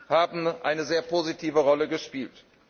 haben eine sehr positive Rolle gespielt.